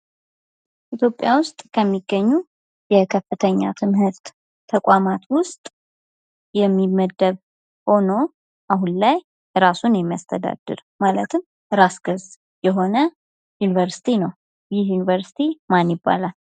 ኢትዮጵያ ውስጥ ከሚገኙ የከፍተኛ ትምህርት ተቋማት ውስጥ የሚመደብ ሆኖ አሁን ላይ ራሱን የሚያስተዳድር ማለትም ራስ ገዝ የሆነ ዩኒቨርስቲ ነው። ይህ ዩኒቨርስቲ ማን ይባላል?